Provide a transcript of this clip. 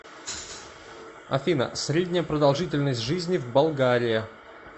афина средняя продолжительность жизни в болгария